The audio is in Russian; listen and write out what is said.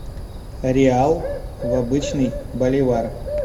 реал в обычный боливар